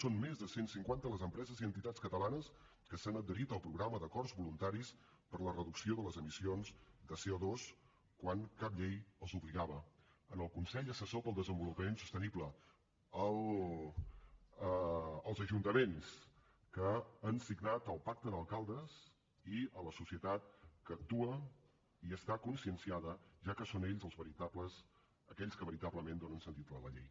són més de cent cinquanta les empreses i entitats catalanes que s’han adherit al programa d’acords voluntaris per a la reducció de les emissions de coal consell assessor per al desenvolupament sostenible als ajuntaments que han signat el pacte d’alcaldes i a la societat que actua i està conscienciada ja que són ells aquells que veritablement donen sentit a la llei